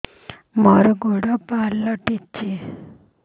ମୋର ଗୋଡ଼ ପାଲଟିଛି